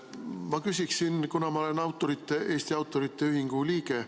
Ma küsiksin, kuna ma olen Eesti Autorite Ühingu liige.